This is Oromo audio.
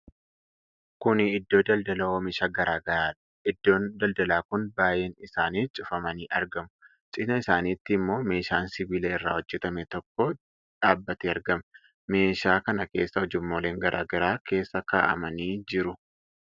Kuni Iddoo daldalaa oomisha garaa garaadha. Iddoon daldalaa kun baay'een isaanii cufamanii argamu. Cinaa isaanitti ammoo meeshaan sibiila irraa hojjatame tokko dhaabatee argama. meeshaa kana keessa ujummooleen garaa garaa keessa kaa'amanii jiru.